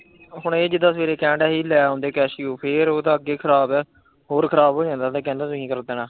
ਹੁਣ ਇਹ ਜਿਦਾ ਸਵੇਰੇ ਕਹਿਣ ਡੇ ਆ ਹੀ ਲੈ ਆਦੇ casio ਫਿਰ ਓ ਤਾਂ ਅੱਗੇ ਖਰਾਬ ਐ, ਹੋਰ ਖਰਾਬ ਹੋ ਜਾਂਦਾ ਕਿ ਤੁਹੀਂ ਫਿਰ ਕਹਿਣਾ।